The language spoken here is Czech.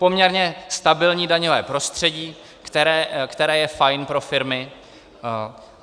Poměrně stabilní daňové prostředí, které je fajn pro firmy.